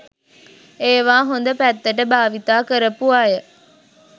ඒවා හොඳ පැත්තට භාවිතා කරපු අය